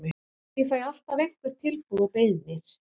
Ég fæ alltaf einhver tilboð og beiðnir.